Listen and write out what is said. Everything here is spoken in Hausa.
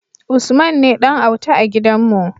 Usman ne Dan auta a gidan mu